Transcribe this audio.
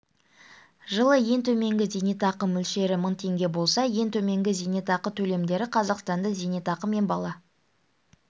жылы ең төменгі зейнетақы мөлшері мың теңге болса ең төменгі зейнетақы төлемдері қазақстанда зейнетақы мен бала